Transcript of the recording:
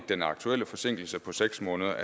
den aktuelle forsinkelse på seks måneder